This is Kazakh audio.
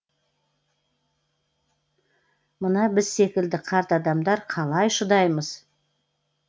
мына біз секілді қарт адамдар қалай шыдаймыз